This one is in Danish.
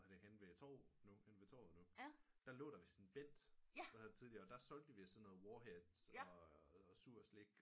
Henne ved torvet nu henne ved torvet nu der lå der vist Bent der havde tideliger og der solgte de sådan noget warheads og sur slik